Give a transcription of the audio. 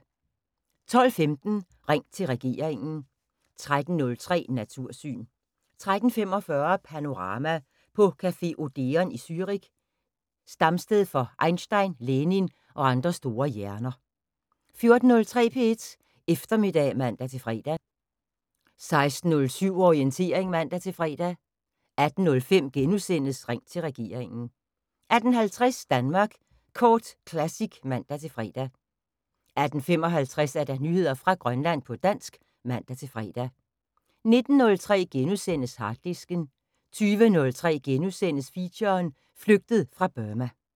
12:15: Ring til regeringen 13:03: Natursyn 13:45: Panorama: På café Odeon i Zürich, stamsted for Einstein, Lenin og andre store hjerner 14:03: P1 Eftermiddag (man-fre) 16:07: Orientering (man-fre) 18:05: Ring til regeringen * 18:50: Danmark Kort Classic (man-fre) 18:55: Nyheder fra Grønland på dansk (man-fre) 19:03: Harddisken * 20:03: Feature: Flygtet fra Burma *